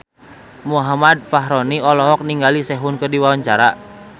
Muhammad Fachroni olohok ningali Sehun keur diwawancara